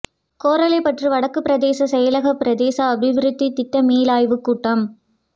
கோரளைப்பற்று வடக்கு பிரதேச செயலக பிரதேச அபிவிருத்தி திட்ட மீளாய்வுக்கூட்டம்